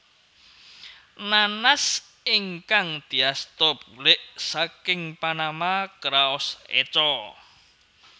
Nanas ingkang diasta bulik saking Panama kraos eco